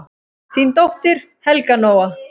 Þín dóttir, Helga Nóa.